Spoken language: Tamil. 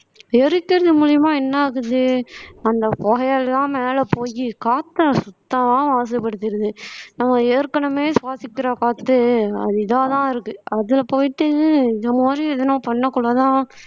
எரிக்கிறது மூலியமா என்ன ஆகுது அந்த புகையெல்லாம் மேல போயி காத்த சுத்தமா மாசுப்படுத்திருது நம்ம ஏற்கனவே சுவாசிக்கிற காத்து அது இதாதான் இருக்கு அதுல போயிட்டு இந்த மாதிரி எதுவும் பண்ணக்குள்ளதான்